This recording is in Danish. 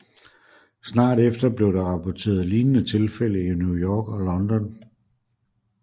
Snart efter blev der rapporteret lignende tilfælde i New York og London